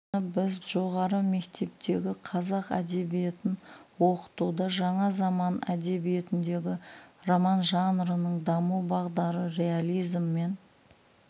мұны біз жоғары мектептегі қазақ әдебиетін оқытуда жаңа заман әдебиетіндегі роман жанрының даму бағдары реализм мен